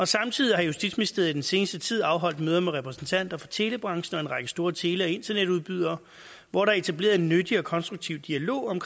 samtidig har justitsministeriet i den seneste tid afholdt møder med repræsentanter for telebranchen og en række store tele og internetudbydere hvor der er etableret en nyttig og konstruktiv dialog om